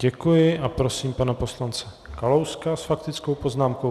Děkuji a prosím pana poslance Kalouska s faktickou poznámkou.